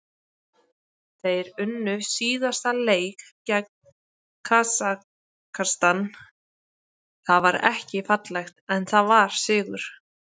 Þeir unnu síðasta leik gegn Kasakstan, það var ekki fallegt en það var sigur.